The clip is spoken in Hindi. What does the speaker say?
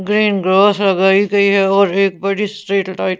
ग्रीन ग्रास लगाई गई है और एक बड़ी स्ट्रीट लाइट --